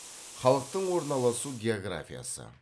халықтың орналасу географиясы